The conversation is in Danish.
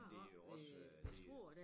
Men det jo også øh det